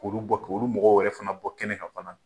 K' olu bɔ, k'olu mɔgɔw wɛrɛ fana bɔ kɛnɛ kan fana.